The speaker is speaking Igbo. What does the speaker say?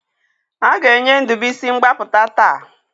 A ga-enye Ndubisi mgbapụta taa